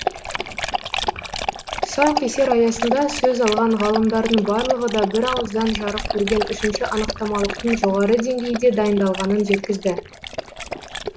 тұсаукесер аясында сөз алған ғалымдардың барлығы да бірауыздан жарық көрген үшінші анықтамалықтың жоғары деңгейде дайындалғанын жеткізді